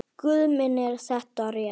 Guð minn er þetta rétt?